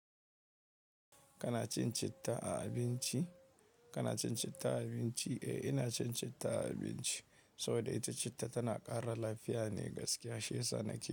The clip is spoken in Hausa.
Kana cin citta a abinci? Kana cin citta a abinci? Eh ina cin citta a abinci. Saboda ita citta tana ƙara lafiya ne gaskiya, shi yasa nake.